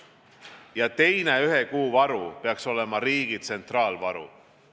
Ja teine ühe kuu varu peaks olema riigi tsentraalne varu.